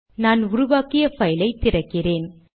நான் உருவாக்கிய பைலை திறக்கிறேன்